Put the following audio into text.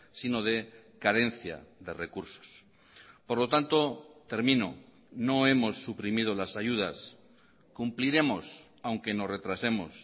sino de carencia de recursos por lo tanto termino no hemos suprimido las ayudas cumpliremos aunque nos retrasemos